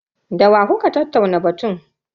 Da wa kuka tattauna batun?